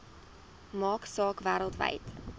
maak saak wêreldwyd